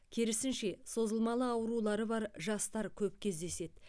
керісінше созылмалы аурулары бар жастар көп кездеседі